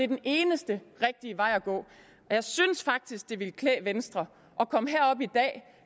den eneste rigtige vej at gå jeg synes faktisk at det ville klæde venstre at komme herop i dag og